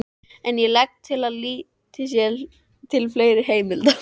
En ég legg til að litið sé til fleiri heimilda.